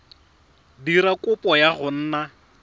dira kopo ya go nna